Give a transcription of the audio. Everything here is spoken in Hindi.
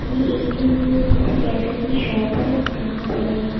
ये एक किसी कैफे की शॉप है यहां पे--